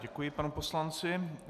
Děkuji panu poslanci.